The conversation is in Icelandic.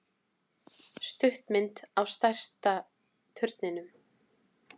Stuttmynd á stærsta turninum